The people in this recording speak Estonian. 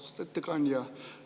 Austatud ettekandja!